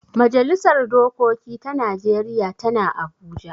Majalisar dokoki ta najeriya tana abuja